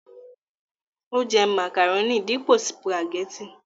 ó jẹ́ màkàrónì dípò sùpàgẹ́tì